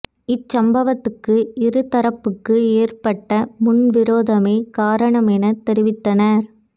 இச்சம்பவத்துக்கு இரு தரப்புக்கு ஏற்பட்ட முன் விரோதமே காரணம் என தெரிவித்தனர்